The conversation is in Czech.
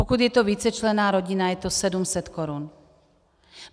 Pokud je to vícečlenná rodina, je to 700 korun.